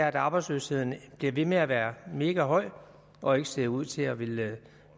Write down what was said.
at arbejdsløsheden bliver ved med at være megahøj og ikke ser ud til at ville